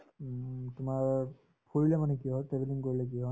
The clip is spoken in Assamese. উম, তোমাৰ ফুৰিলে মানে কি হয় travelling কৰিলে কি হয়